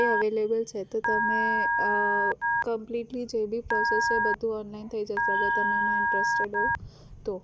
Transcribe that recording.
એ available છે તો તમે completely જોડી શકો છો એ બધું online થઇ જશે જો તમે એમાં interest હો તો